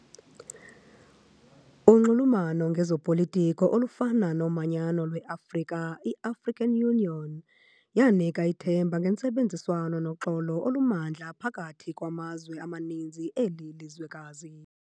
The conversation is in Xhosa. Unxulumano ngezopolitiko olufana nomanyano lwe-afrika, i-African Union, yanika ithemba ngentsebenziswano noxolo olumandla phakathi kwamazwe amaninzi eli lizwekazi.